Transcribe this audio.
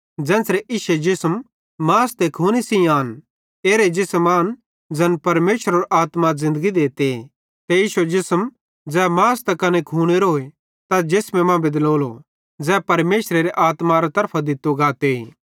ज़ेन्च़रे इश्शे जिसमे मास ते खूने सेइं आन एरे जिसम आन ज़ैन परमेशरेरो आत्मा ज़िन्दगी देते ते इश्शे जिसम ज़ै मासे त कने खूनेरोए तैस जिसमे मां बेदलोलो ज़ै परमेशरेरो आत्मारे तरफां दित्तो गाते